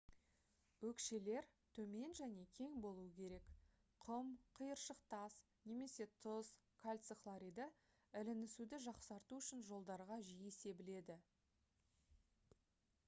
өкшелер төмен және кең болуы керек. құм қиыршық тас немесе тұз кальций хлориді ілінісуді жақсарту үшін жолдарға жиі себіледі